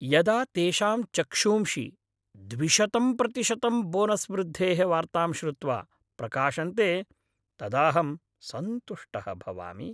यदा तेषां चक्षूंषि द्विशतं प्रतिशतं बोनस् वृद्धेः वार्तां श्रुत्वा प्रकाशन्ते तदाहं सन्तुष्टः भवामि।